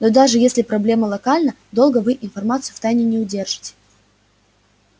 но даже если проблема локальна долго вы информацию в тайне не удержите